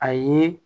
A ye